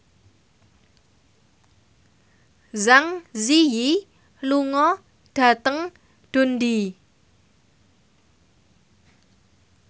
Zang Zi Yi lunga dhateng Dundee